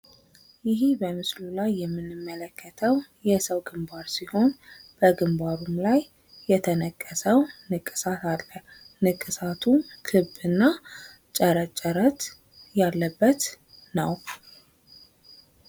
ይሄ በምስሉ ላይ የምንመለከተዉ የሰዉ ግንባር ሲሆን በግንባሩም ላይ የተነቀሰዉ ንቅሳት አለ። ንቅሳቱም ክብ እና ጨረት ጨረት ያለበት ነዉ።